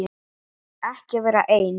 Ekki vera einn.